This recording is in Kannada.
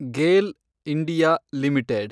GAIL (India) limited